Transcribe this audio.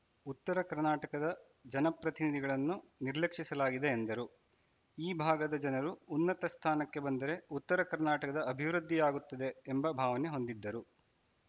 ಉತ್ತರ ಕರ್ನಾಟಕದ ಜನಪ್ರತಿನಿಧಿಗಳನ್ನು ನಿರ್ಲಕ್ಷಿಸಲಾಗಿದೆ ಎಂದರು ಈ ಭಾಗದ ಜನರು ಉನ್ನತ ಸ್ಥಾನಕ್ಕೆ ಬಂದರೆ ಉತ್ತರ ಕರ್ನಾಟಕದ ಅಭಿವೃದ್ಧಿಯಾಗುತ್ತದೆ ಎಂಬ ಭಾವನೆ ಹೊಂದಿದ್ದರು